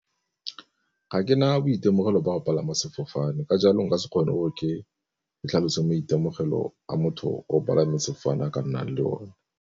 Ga ke na boitemogelo ba go palama sefofane, ka jalo nka se kgone gore ke tlhalose maitemogelo a motho o palame sefofane a ka nnang le o ne.